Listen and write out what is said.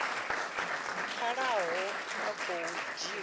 pfalaho a khou dzhiwa u